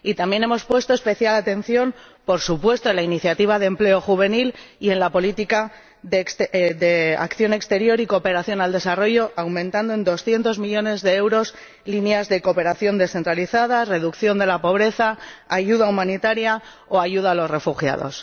Y también hemos puesto especial atención, por supuesto, en la iniciativa de empleo juvenil y en la política de acción exterior y cooperación al desarrollo, aumentando en 200 millones de euros líneas relativas a la cooperación descentralizada, la reducción de la pobreza, la ayuda humanitaria o la ayuda a los refugiados.